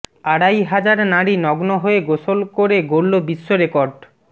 আড়াই হাজার নারী নগ্ন হয়ে গোসল করে গড়ল বিশ্ব রেকর্ড